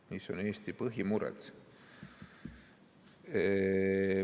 Mis on Eesti põhimured?